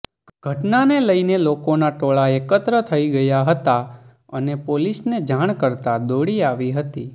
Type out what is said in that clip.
ઘટનાને લઇને લોકોના ટોળા એકત્ર થઇ ગયા હતા અને પોલીસને જાણ કરતા દોડી આવી હતી